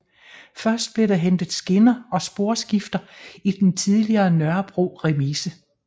Først blev der hentet skinner og sporskifter i den tidligere Nørrebro Remise